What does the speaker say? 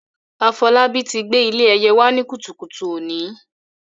Afolabi ti gbé ilé ẹyẹ wá ní kùtùkùtù òní.